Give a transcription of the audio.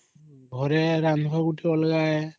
ରନ୍ଧଲା ତ ପୁରା ଅଲଗା ହେ